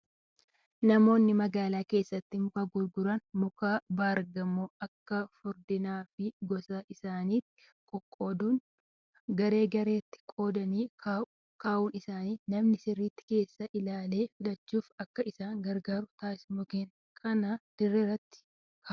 Namoonni magaalaa keessatti muka gurguran muka baargamoo akka furdinaa fi gosa isaatti qoqqooduun garee gareetti qoodanii kaa'uun isaanii namni sirriitti keessaa ilaalee filachuuf akka isa gargaaru taasisa. Mukkeen kanas dirreerra kaa'u.